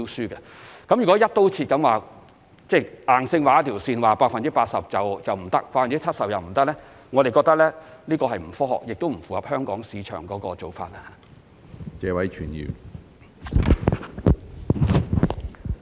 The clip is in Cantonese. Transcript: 我們認為如以"一刀切"方式硬性劃出一條線，如訂明 80% 或 70% 以下便不符資格，這是既不科學也不符合香港市場要求的做法。